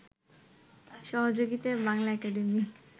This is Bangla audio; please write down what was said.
সহযোগিতায় বাংলা একাডেমি